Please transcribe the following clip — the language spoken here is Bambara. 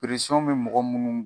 be mɔgɔ munnu